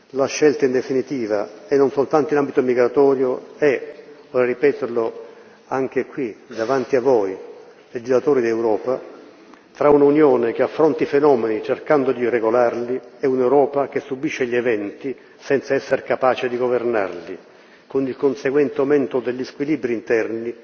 La scelta, in definitiva e non soltanto in ambito migratorio è, vorrei ripeterlo, anche qui, davanti a voi, legislatori d'Europa, tra un'Unione che affronti fenomeni cercando di regolarli e un'Europa che subisce gli eventi senza esser capace di governarli, con il conseguente aumento degli squilibri interni